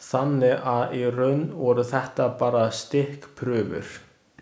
Þannig að í raun voru þetta bara stikkprufur.